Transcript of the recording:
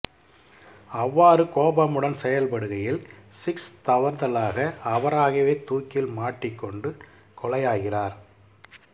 அவ்வாறு கோபமுடன் செயல்படுகையில் சிக்ஸ் தவறுதலாக அவராகவே தூக்கில் மாட்டிக் கொண்டு கொலையாகிறார்